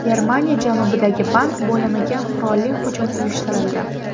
Germaniya janubidagi bank bo‘limiga qurolli hujum uyushtirildi.